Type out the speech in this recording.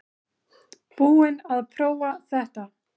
Búinn að prófa þetta